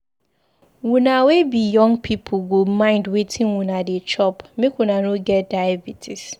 Una wey be young pipu go mind wetin una dey chop make una no get diabetes.